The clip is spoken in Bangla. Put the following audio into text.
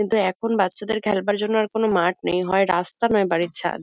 কিন্তু এখন বাচ্চাদের খেলবার জন্য আর কোনো মাঠ নেই। হয় রাস্তা নয় বাড়ির ছাদ।